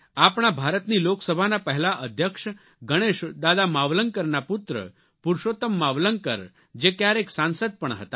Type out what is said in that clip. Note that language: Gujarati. આપણા ભારતની લોકસભાના પહેલા અધ્યક્ષ ગણેશ દાદા માવલંકરના પુત્ર પુરૃષોત્તમ માવલંકર જે ક્યારેક સાંસદ પણ હતા